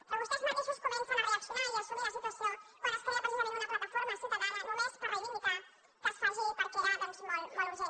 però vostès mateixos comencen a reaccionar i a assumir la situació quan es crea precisament una plataforma ciutadana només per reivindicar que es faci perquè era doncs molt urgent